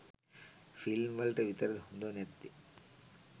Film වලට විතරද හොඳ නැත්තේ?